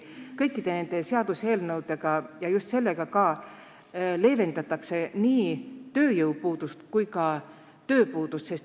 Kõikide nende seaduseelnõudega ja ka sellega leevendatakse nii tööjõupuudust kui ka tööpuudust.